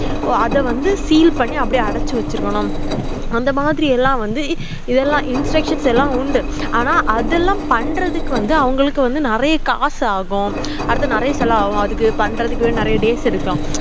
ஓ அத வந்து seal பண்ணி அடைச்சுவச்சிருக்கணும் அந்த மாதிரி எல்லாம் வந்து இதலாம instruction லாம் உண்டு ஆனா அது பண்றதுக்கு வந்து அவங்களுக்கு வந்து நெறைய காசு ஆகும் அடுத்து நெறைய செலவு அகும் இது பண்றதுக்கு நெறைய days எடுக்கும்